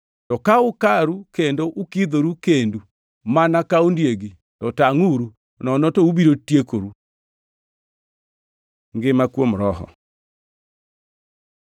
To ka ukaru kendo ukidhoru kendu mana ka ondiegi, to tangʼuru, nono to ubiro tiekoru. Ngima kuom Roho